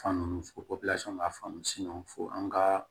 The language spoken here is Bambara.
Fan ninnu fo b'a faamu fo an ka